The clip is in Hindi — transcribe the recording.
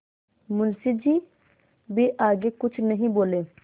मुंशी जी भी आगे कुछ नहीं बोले